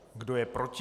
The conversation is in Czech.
Kdo je proti?